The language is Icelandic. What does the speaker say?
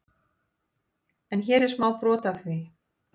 En hér er smá brot af því.